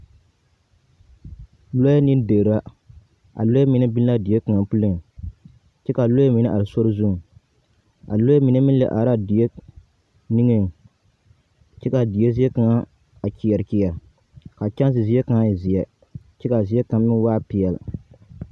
Lɔɛɛ ne derra, a lɔɛ mine be la a die kaŋa puliŋ, kyɛ kaa lɔɛ mine are sori zuŋ. A lɔɛ mine meŋ lɛ araa die niŋeŋ, kyɛ kaa die zie kaŋa a kyeɛr kyeɛr, kaa kyanse zie kaŋa e zeɛ, kyɛ kaa zie kaŋa meŋ waa peɛl.